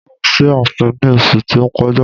Mo lọ sí ààfin ní oṣu tí ó kọjá.